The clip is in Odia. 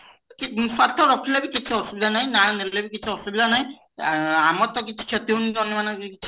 କି ସର୍ତ୍ତ ରଖିଲ ବି କିଛି ଅସୁବିଧା ନାହିଁ ନାଁ ନେଲେ ବି କିଛି ଅସୁବିଧା ନାହିଁ ଆମର ତ କିଛି କ୍ଷତି ହଉ ନାହିଁ ତମ ମାନଙ୍କର ବି